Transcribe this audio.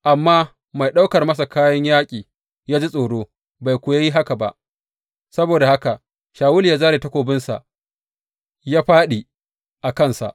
Amma mai ɗaukar masa kayan yaƙi ya ji tsoro bai kuwa yi haka ba; saboda haka Shawulu ya zāre takobinsa ya fāɗi a kansa.